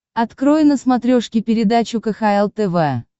открой на смотрешке передачу кхл тв